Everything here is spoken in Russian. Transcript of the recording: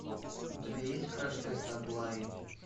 у тебя есть краш тест аглаи